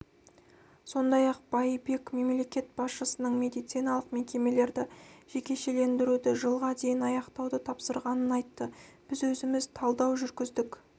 сондай-ақ байбек мемлекет басшысының медициналық мекемелерді жекешелендіруді жылға дейін аяқтауды тапсырғанын айтты біз өзіміз талдау жүргіздік